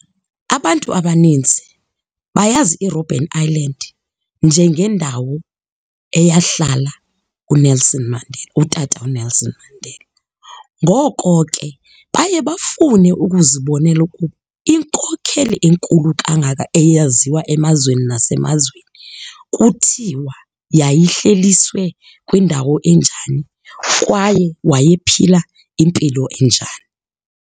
Abantu abaninzi bayazi iRobben Island njengendawo eyahlala uNelson Mandela, uTata uNelson Mandela. Ngoko ke, baye bafune ukuzibonela ukuba inkokheli enkulu kangaka eyaziwa emazweni nasemazweni kuthiwa yayihleliswe kwindawo enjani kwaye wayephila impilo enjani.